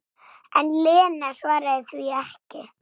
En Lena svaraði því ekki.